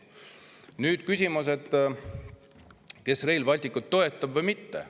Nüüd see, kes Rail Balticut toetab ja kes mitte.